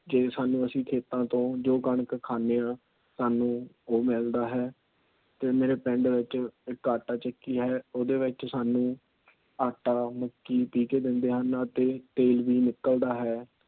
ਜੇ ਸਾਂਨੂੰ ਖੇਤ ਚੋ ਜੋ ਕਣਕ ਅਸੀਂ ਖਾਣੇ ਆ ਸਾਂਨੂੰ ਉਹ ਮਿਲਦਾ ਹੈ। ਤੇ ਮੀ ਪਿੰਡ ਵਿੱਚ ਇਕ ਆਟਾ ਚੱਕੀ ਹੈ। ਉਹਦੇ ਵਿੱਚ ਸਾਂਨੂੰ ਆਟਾ, ਮੱਕੀ ਪੀਹ ਕੇ ਦੇਂਦੇ ਹਨ। ਅਤੇ ਤੇਲ ਵੀ ਨਿਕਲਦਾ ਹੈ।